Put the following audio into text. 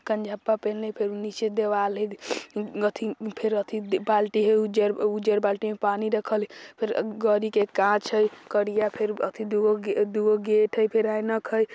कनझप्पा पेन्हले हई फिर भी निचे दिवाल हई अथी फिर अथी बाल्टी हई उज्जर उज्जर बाल्टी में पानी रखल हई फिर गाड़ी के काँच हई करिया फिर अथी दुगो दुगो गेट हई फिर ऐनक हई।